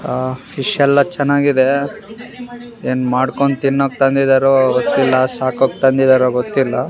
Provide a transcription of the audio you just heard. ಆ ಫಿಶ್ ಎಲ್ಲ ಚೆನ್ನಾಗಿದೆ ಏನ್ ಮಾಡ್ಕೊಂಡ್ ತಿನ್ನೋಕ್ ತಂದಿದಾರೊ ಗೊತ್ತಿಲ್ಲ ಸಾಕೋಕ್ ತಂದಿದಾರೋ ಗೊತ್ತಿಲ್ಲ.